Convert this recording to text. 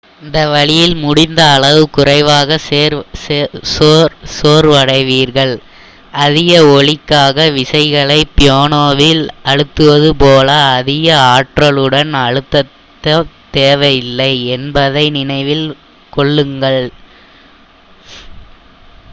இந்த வழியில் முடிந்த அளவு குறைவாக சோர்வடைவீர்கள் அதிக ஒலிக்காக விசைகளை பியானோவில் அழுத்துவது போல அதிக ஆற்றலுடன் அழுத்தத் தேவையில்லை என்பதை நினைவில் கொள்ளுங்கள்